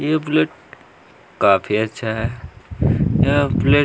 यह बुलेट काफी अच्छा है ऐ बुलेट --